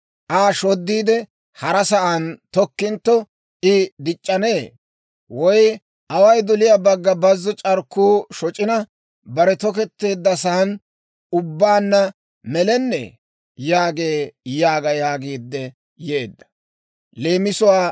Aa shoddiide, hara sa'aan tokkintto, I dic'c'anee? Away doliyaa bagga bazzo c'arkkuu shoc'ina, bare toketteeddasan ubbaanna melennee?» yaagee› yaaga» yaagiidde yeedda.